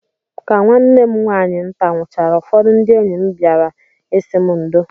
Ka nwanne m nwaanyị nta nwụchaara, ụfọdụ ndị enyi m bịara ịsị m ndo